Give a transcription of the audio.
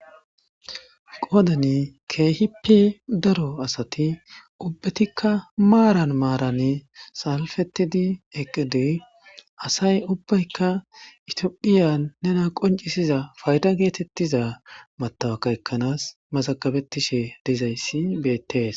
qoodani keehippe daro asati ubbatikka maaran maaran salfetidi eqqide asay ubbaykka itiophiyan nena qoncisiza fayda geetettiza matawakka ekkanaas masakabetishe dizayssi beettees